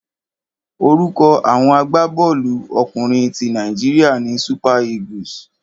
Orúkọ àwọn agbábọ́ọ̀lú ọkùnrin ti Nàíjíríà ni Super Eagles.